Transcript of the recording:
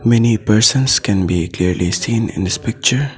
Many persons can be clearly seen in this picture.